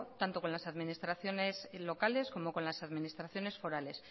tanto con las administraciones locales como con las administraciones forales